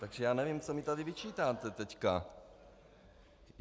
Takže já nevím, co mi tady vyčítáte teďka.